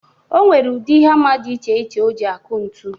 O nwere ụdị hama dị iche iche o ji aku ntu.